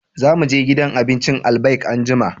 Za mu je gidan abincin Albaik anjima